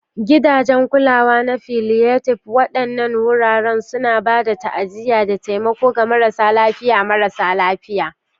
Gidajen Kulawa na Palliative: Waɗannan wuraren suna ba da ta'aziyya da taimako ga marasa lafiya marasa lafiya.